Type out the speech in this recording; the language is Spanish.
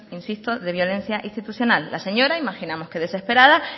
insisto de violencia institucional la señora imaginamos que desesperada